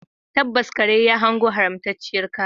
Tabbas, kare ya hango haramtacciyar kaya